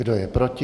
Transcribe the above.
Kdo je proti?